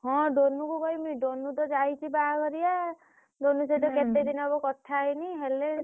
ହଁ ଡୋନୁକୁ କହିବିନି ଡୋନୁ ତ ଯାଇଛି ବାହାଘରିଆ ଡୋନୁ ସହିତ କେତେ ଦିନି ହବ କଥା ହେଇନି କଥା ହେଇନି ହେଲେ।